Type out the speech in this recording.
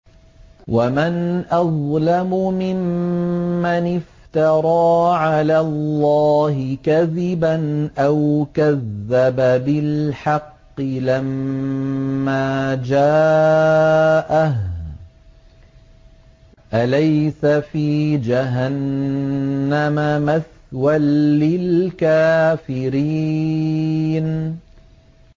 وَمَنْ أَظْلَمُ مِمَّنِ افْتَرَىٰ عَلَى اللَّهِ كَذِبًا أَوْ كَذَّبَ بِالْحَقِّ لَمَّا جَاءَهُ ۚ أَلَيْسَ فِي جَهَنَّمَ مَثْوًى لِّلْكَافِرِينَ